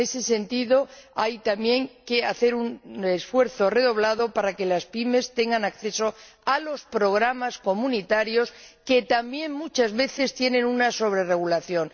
En ese sentido, también hay que hacer un esfuerzo redoblado para que las PYME tengan acceso a los programas comunitarios que también, muchas veces, padecen una sobrerregulación.